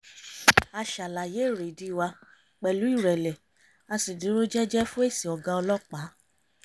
a ṣàlàyé èrèdí wa pẹ̀lú ìrẹ̀lẹ̀ a sì dúró jẹ́jẹ́ fún èsì ọ̀gá ọlọ́pàá